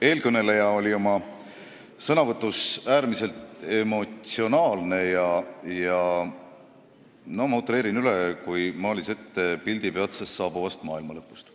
Eelkõneleja oli oma sõnavõtus äärmiselt emotsionaalne, ma natuke utreerin, aga ta nagu maalis ette pildi peatselt saabuvast maailmalõpust.